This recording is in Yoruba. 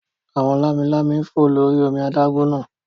Àwọn lámi-lámi ń fò lórí omi adágún náà